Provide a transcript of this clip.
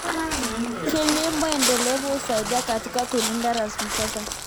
Kilimo endelevu husaidia katika kulinda rasilimali za asili.